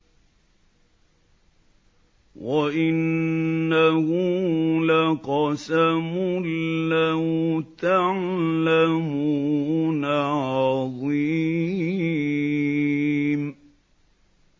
وَإِنَّهُ لَقَسَمٌ لَّوْ تَعْلَمُونَ عَظِيمٌ